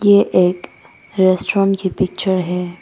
ये एक रेस्टोरेंट की पिक्चर है।